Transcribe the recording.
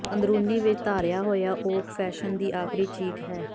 ਅੰਦਰੂਨੀ ਵਿਚ ਧਾਰਿਆ ਹੋਇਆ ਓਕ ਫੈਸ਼ਨ ਦੀ ਆਖਰੀ ਚੀਕ ਹੈ